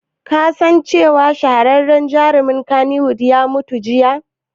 Ka san cewa wani shahararren jarumin kannywood ya mutu jiya?